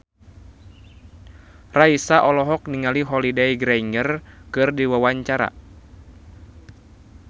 Raisa olohok ningali Holliday Grainger keur diwawancara